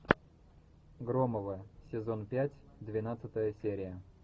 громовы сезон пять двенадцатая серия